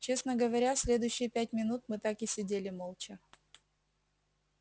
честно говоря следующие пять минут мы так и сидели молча